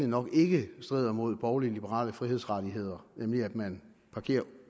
nok ikke strider imod borglig liberale frihedsrettigheder nemlig at man parkerer